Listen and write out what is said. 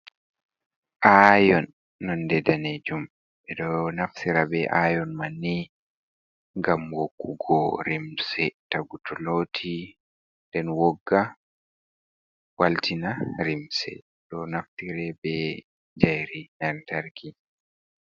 Aion nonde danejum, ɓeɗo naftira be ion manni ngam woggugo limse. tagu toloti den wogga, waltina limse. Ɗo naftire be jairi antarky.